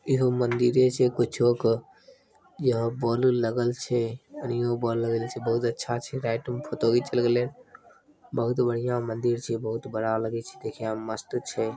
इहे मंदिर छे कुछो कह इहा बॉल उल लगावल छे । निम्न बॉल लगैले छे बहुत अच्छा छे रात में फोटो घीच क लगैले छे बहुत बढ़िया मंदिर छे बहुत बड़ा लगी छे देखने में मस्त छे ।